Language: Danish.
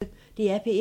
DR P1